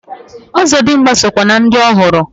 Ọzọdimgba so kwa na ndi ohụrụ.